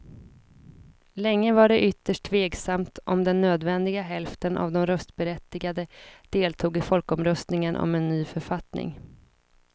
Länge var det ytterst tveksamt om den nödvändiga hälften av de röstberättigade deltog i folkomröstningen om en ny författning.